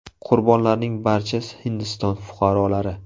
Qurbonlarning barchasi Hindiston fuqarolari.